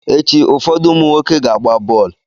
Echi, ụfọdụ ụmụ nwoke ga-agba bọọlụ.